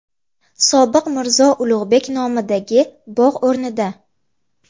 Sobiq Mirzo Ulug‘bek nomidagi bog‘ o‘rnida.